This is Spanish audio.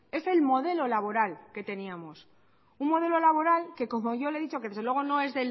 es el modelo laboral que teníamos un modelo laboral que como yo le he dicho que desde luego no es